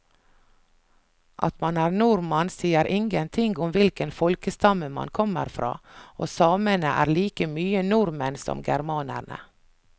At man er nordmann sier ingenting om hvilken folkestamme man kommer fra, og samene er like mye nordmenn som germanerne.